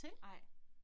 Nej